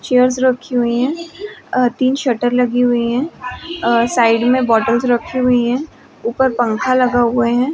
Chairs रखी हुई है अ-तीन शटर लगी हुई है अ-साइड मे बोटल्स रखी हुई हैं उपर पंखा लगा हुआ है।